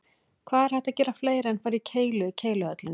Hvað er hægt að gera fleira en fara í keilu í Keiluhöllinni?